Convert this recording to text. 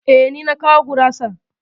E, ni na kawo gurasar.